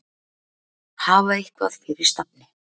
Hafa eitthvað fyrir stafni.